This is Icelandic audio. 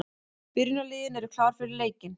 Byrjunarliðin eru klár fyrir leikinn.